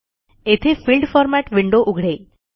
येथे field format window उघडेल